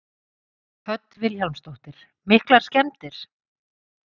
Hödd Vilhjálmsdóttir: Miklar skemmdir?